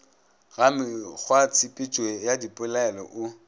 ga mekgwatshepetšo ya dipelaelo o